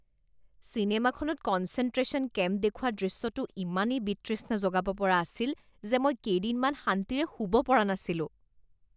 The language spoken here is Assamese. চিনেমাখনত কনচেনট্ৰেশ্যন কেম্প দেখুওৱা দৃশ্যটো ইমানেই বিতৃষ্ণা জগাব পৰা আছিল যে মই কেইদিনমান শান্তিৰে শুব পৰা নাছিলো